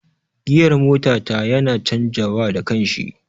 Giyar mota ta yana canja wa da kanshi